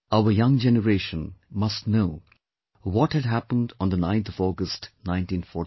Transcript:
Our young generation must know what had happened on the 9th of August 1942